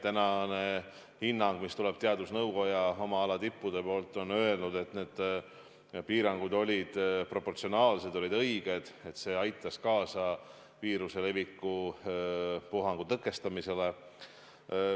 Tänane hinnang, mis tuleb teadusnõukojast oma ala tippude poolt, on öelnud, et need piirangud olid proportsionaalsed, olid õiged, et see aitas kaasa viirusepuhangu leviku tõkestamisele.